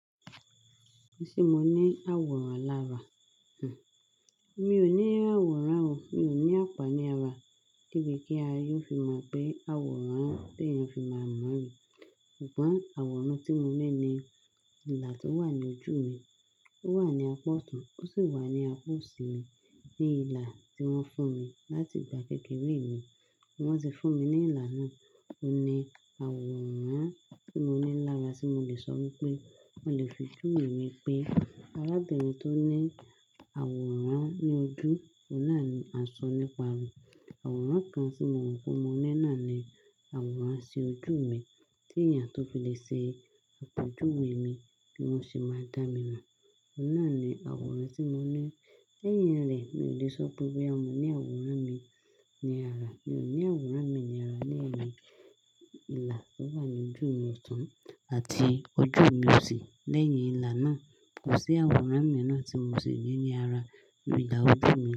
Ṣé mo ní àwòrán lára? Mi ò ní àwòrán o, mi ò ní àpá ní ara, debi kí aye o fi mọ̀ pé àwòrán tí èèyàn fi máa mọ̀ ni. Ṣùgbọ́n àwòrán tí mo ní ni ilà tó wà ní ojú mi. Ó wà ní apá ọ̀tun, ó sì wà ní apá òsì mi, ní ilà tí wọ́n fún mi láti ìgbà kékeré mi. Wọ́n ti fún mi ní ilà náà. Ó ní àwòrán tí mo ní lára tí mo lè sọ wípé, mo lè fi júwe mi pé arábìnrin tó ní àwòrán ní ojú, ó náà ni a sọ nípa rẹ̀. Àwòrán kan tí mo rò pé mo ní náà ni àwòrán sí ojú mi tí èèyàn tó fi lè ṣe àpèjúwe mi, bí wọ́n ṣe máa dá mi mọ̀. Ó náà ni àwòrán tí mo ní. Lẹ́yìn rẹ̀, mi ò lè sọ pé boya mo ní àwòrán mi ní ara. Mi ò ní àwòrán mi ní ara lẹ́yìn ilà tó wà ní ojú mi ọ̀tun àti ojú mi òsì. Lẹ́yìn ilà náà, kò sí àwòrán mi ráà tí mo sì ní ní ara, ní ìlà ojú mi.